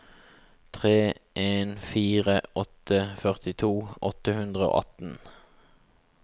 tre en fire åtte førtito åtte hundre og atten